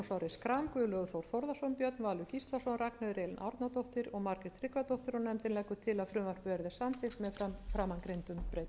schram guðlaugur þór þórðarson björn valur gíslason ragnheiður elín árnadóttir og margrét tryggvadóttir og nefndin leggur til að frumvarpið verði samþykkt með framangreindum breytingum